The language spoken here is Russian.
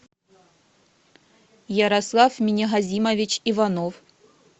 ярослав минигазимович иванов